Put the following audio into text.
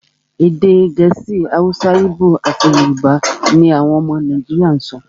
Èdè Gẹ̀ẹ́sì, Hausa, Igbo, àti Yorùbá ní àwọn ọmọ Nàìjíríà sọ.